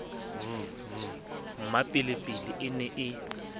v v mmapelepele e ne